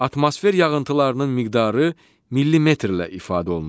Atmosfer yağıntılarının miqdarı millimetrlə ifadə olunur.